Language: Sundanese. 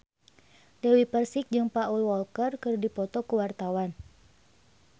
Dewi Persik jeung Paul Walker keur dipoto ku wartawan